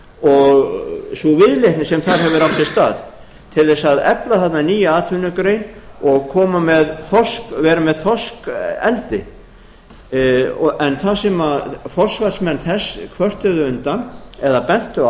og sú viðleitni sem þar hefur átt sér stað til þess að efla þarna nýja atvinnugrein og vera með þorskeldi en það sem forsvarsmenn þess kvörtuðu undan eða bentu